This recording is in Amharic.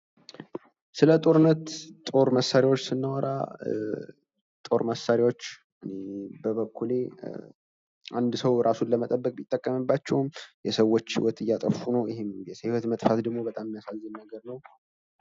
ስለ ጦርነት ጦር መሳሪያዎች ስናወራ ጦር መሳሪያዎች በበኩሌ አንድ ሰው እራሱን ለመጠበቅ የሚጠቅምባቸው ሰዎች ህይወት እያጠፉ ነው ።የሰዎች ደግሞ በጣም የሚያሳዝን ነው ።